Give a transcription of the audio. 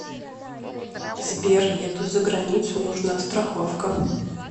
сбер еду за границу нужна страховка